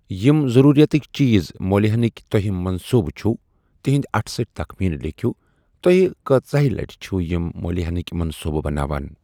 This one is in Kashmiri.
یِم ضروٗرِیاتٕكہِ چیز مو٘لۍ ہینٕكۍ توہہہِ منصوُبہٕ چھُ تِہُند اٹھ سٹی تخمینہٕ لیكھِۄ ، توہہہِ كٲژِیاہہہِ لٕٹہِ چھِو یِم مو٘لۍ ہینٕكۍ منصوٗبٕہ بناوان ۔